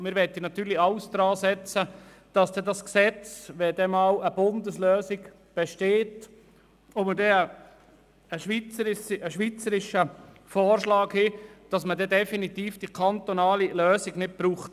Wir möchten natürlich alles daransetzen, dass das Gesetz ausser Kraft tritt, falls später einmal eine Bundeslösung gefunden wird und es die kantonale Lösung nicht mehr braucht.